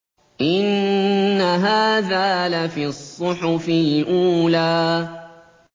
إِنَّ هَٰذَا لَفِي الصُّحُفِ الْأُولَىٰ